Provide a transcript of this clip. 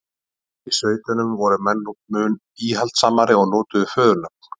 úti í sveitunum voru menn mun íhaldssamari og notuðu föðurnöfn